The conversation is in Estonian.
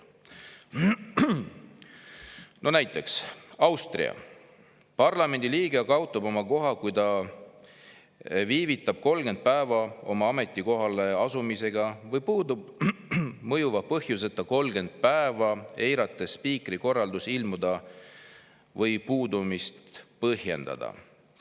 No näiteks Austria – parlamendiliige kaotab oma koha, kui ta viivitab 30 päeva oma ametikohale asumisega või puudub mõjuva põhjuseta 30 päeva, eirates spiikri korraldusi ilmuda või puudumist põhjendada.